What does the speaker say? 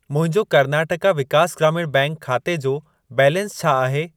मुंहिंजो कर्नाटका विकास ग्रामीण बैंक खाते जो बैलेंस छा आहे?